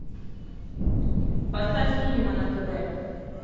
поставь синема на тв